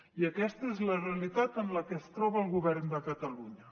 i aquesta és la realitat en la que es troba el govern de catalunya